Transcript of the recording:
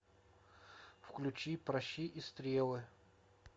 включи пращи и стрелы